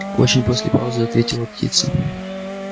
очень после паузы ответила птица